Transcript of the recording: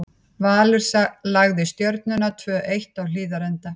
Valur lagði Stjörnuna, tvö eitt, á Hlíðarenda.